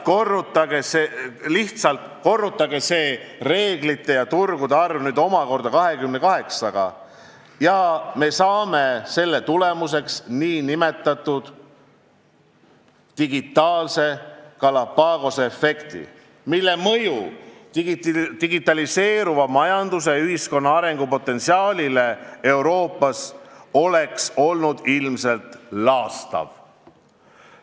Lihtsalt korrutage see reeglite ja turgude arv omakorda 28-ga, ja me saame selle tulemuseks nn digitaalse Galapagose efekti, mille mõju digitaliseeruva majanduse ja ühiskonna arengu potentsiaalile Euroopas oleks olnud ilmselt laastav.